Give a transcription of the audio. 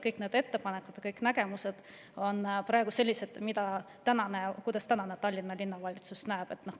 Kõik ettepanekud ja nägemused on praegu sellised, nagu tänane Tallinna Linnavalitsus seda näeb.